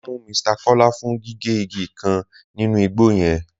Wọn mú Mr Kọla fún gígé igi kan nínú igbo yẹn.